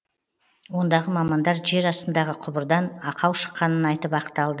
ондағы мамандар жер астындағы құбырдан ақау шыққанын айтып ақталды